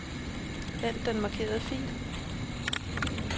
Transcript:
Hent den markerede fil.